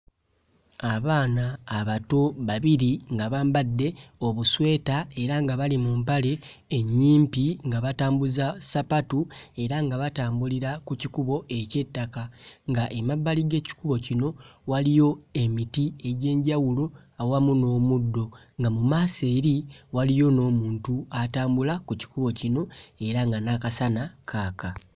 Abaana abato babiri nga bambadde obusweta era nga bali mu mpale ennyimpi nga batambuza ssapatu era nga batambulira ku kikubo eky'ettaka ng'emabbali g'ekikubo kino waliyo emiti egy'enjawulo awamu n'omuddo, nga mu maaso eri waliyo n'omuntu atambula ku kikubo kino era nga n'akasana kaaka.